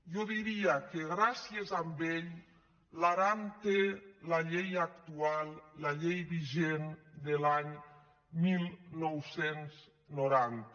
jo diria que gràcies a ell l’aran té la llei actual la llei vigent de l’any dinou noranta